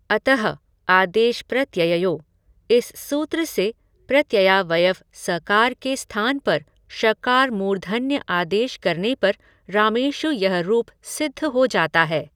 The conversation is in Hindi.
अतः आदेशप्रत्यययोः इस सूत्र से प्रत्ययावयव सकार के स्थान पर षकार मूर्धन्य आदेश करने पर रामेषु यह रूप सिद्ध हो जाता है।